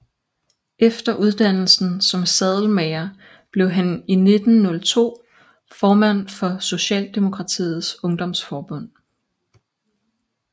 Efter uddannelsen som sadelmager blev han i 1902 formand for Socialdemokratiets Ungdomsforbund